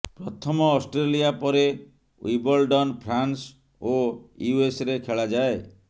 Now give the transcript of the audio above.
ପ୍ରଥମ ଅଷ୍ଟ୍ରେଲିଆ ପରେ Wimbledon France ଓ ୟୁଏସରେ ଖେଳାଯାଏ